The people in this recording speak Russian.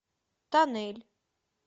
тоннель